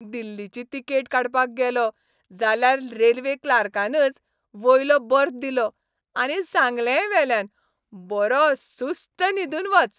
दिल्लीची तिकेट काडपाक गेलों, जाल्यार रेल्वे क्लार्कानाच वयलो बर्थ दिलो, आनी सांगलेंय वेल्यान, बरो सुस्त न्हिदून वच.